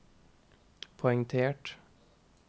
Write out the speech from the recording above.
poengtert